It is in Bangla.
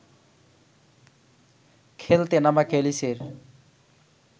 খেলতে নামা ক্যালিসের